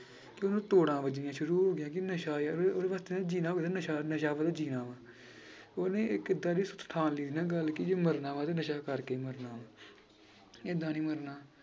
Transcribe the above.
ਕਿ ਉਹਨੂੰ ਤੋੜਾਂ ਵੱਜਣੀਆਂ ਸ਼ੁਰੂ ਹੋ ਗਈਆਂ ਕਿ ਨਸ਼ਾ ਉਹਦੇ ਵਾਸਤੇ ਜਿਉਣਾ ਨਸ਼ਾ ਨਸ਼ਾ ਉਹਦਾ ਜਿਉਣਾ ਵਾਂ ਉਹਨੇ ਇੱਕ ਏਦਾਂ ਠਾਣ ਲਈ ਸੀ ਨਾ ਗੱਲ ਕਿ ਜੇ ਮਰਨਾ ਵਾ ਤਾਂਂ ਨਸ਼ਾ ਕਰਕੇ ਹੀ ਮਰਨਾ ਏਦਾਂ ਨੀ ਮਰਨਾ।